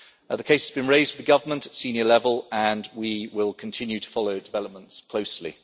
The case has been raised with the government at senior level, and we will continue to follow developments closely.